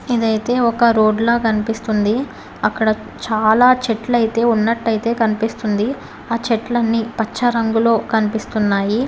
ఇదైతే ఒక రోడ్ లా కనిపిస్తుంది. అక్కడ చాలా చెట్లయితే ఉన్నట్టయితే కనిపిస్తుంది. ఆ చెట్లని పచ్చ రంగులో కనిపిస్తున్నాయి.